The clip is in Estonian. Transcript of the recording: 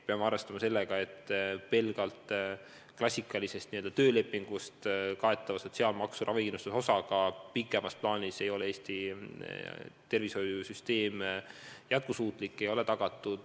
Peame arvestama sellega, et pelgalt klassikalise töölepingu alusel makstav sotsiaalmaksu ravikindlustuse osa ei taga Eesti tervishoiusüsteemi jätkusuutlikkust pikemas plaanis.